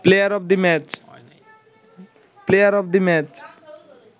player of the match